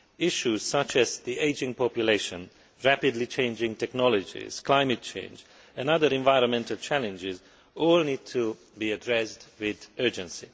Issues such as the ageing population, rapidly changing technologies, climate change and other environmental challenges all need to be addressed with urgency.